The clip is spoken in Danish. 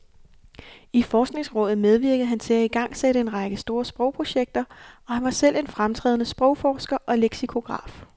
I forskningsrådet medvirkede han til at igangsætte en række store sprogprojekter, og han var selv en fremtrædende sprogforsker og leksikograf.